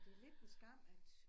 Det lidt en skam at